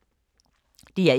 DR1